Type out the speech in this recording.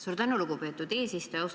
Suur tänu, lugupeetud eesistuja!